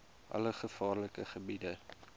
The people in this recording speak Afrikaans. alle gevaarlike gebiede